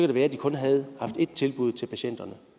det være de kun havde haft ét tilbud til patienterne